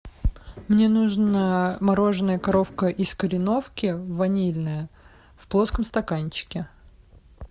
мне нужно мороженое коровка из кореновки ванильное в плоском стаканчике